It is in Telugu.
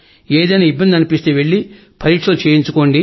ఏదైనా ఇబ్బంది అనిపిస్తే వెళ్లి పరీక్షలు చేయించుకోండి